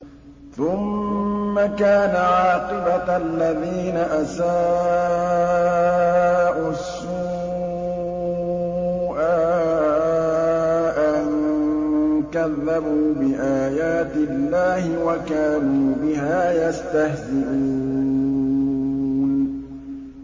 ثُمَّ كَانَ عَاقِبَةَ الَّذِينَ أَسَاءُوا السُّوأَىٰ أَن كَذَّبُوا بِآيَاتِ اللَّهِ وَكَانُوا بِهَا يَسْتَهْزِئُونَ